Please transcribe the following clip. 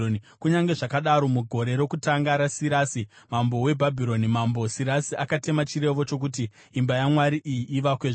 “Kunyange zvakadaro, mugore rokutanga raSirasi mambo weBhabhironi, Mambo Sirasi akatema chirevo chokuti imba yaMwari iyi ivakwezve.